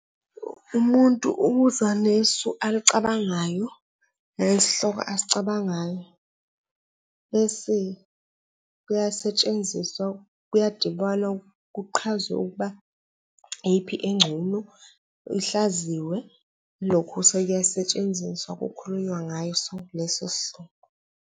Umuntu ukuzanesu alicabangayo nesihloko asicabangayo bese kuyasetshenziswa kuyadibwana kuqhazwe ukuba iyiphi engcono, ihlaziywe lokhu sukuyasetshenziswa kukhulunywa ngaso leso sihloko.